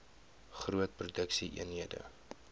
groot produksie eenhede